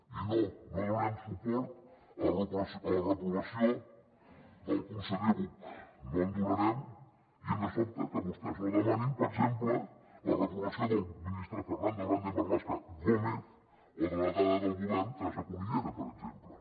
i no no donarem suport a la reprovació del conseller buch no el donarem i ens sobta que vostès no demanin per exemple la reprovació del ministre fernando grande marlaska gómez o de la delegada del govern teresa cunillera per exemple